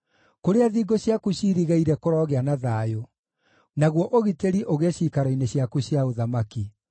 Kũrĩa thingo ciaku ciirigĩire kũrogĩa na thayũ, naguo ũgitĩri ũgĩe ciikaro-inĩ ciaku cia ũthamaki.”